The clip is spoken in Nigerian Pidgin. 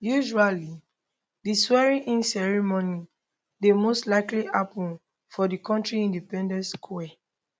usually di swearinginceremony dey most likely happun for di kontri independence square